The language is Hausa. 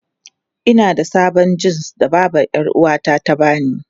Ina da sabon jins da babbar 'yar'uwata ta ba ni.